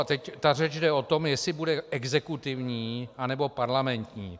A teď ta řeč jde o tom, jestli bude exekutivní, anebo parlamentní.